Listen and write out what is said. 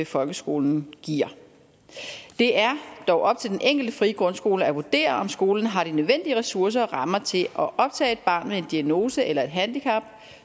folkeskolen giver det er dog op til den enkelte frie grundskole at vurdere om skolen har de nødvendige ressourcer og rammer til at optage et barn med en diagnose eller et handicap